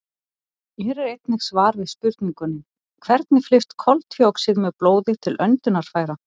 Hér er einnig svar við spurningunni: Hvernig flyst koltvíoxíð með blóði til öndunarfæra?